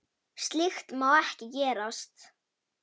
Slíkt má ekki gerast.